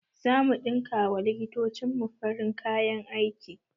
Zamu ɗinka wa likitocin mu farin kayan aiki